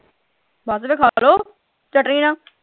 ਬਸ ਫੇਰ ਖਾ ਲਓ ਚਟਨੀ ਨਾਲ।